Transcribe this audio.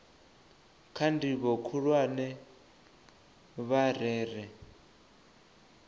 kha ndivho khulwane vha rere